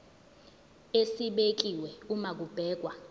esibekiwe uma kubhekwa